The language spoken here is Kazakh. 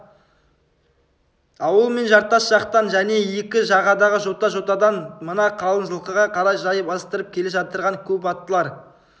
ауыл мен жартас жақтан және екі жағадағы жота-жотадан мына қалын жылқыға қарай жай бастырып келе жатқан көп аттылар